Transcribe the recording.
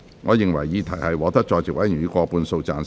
我認為議題獲得在席委員以過半數贊成。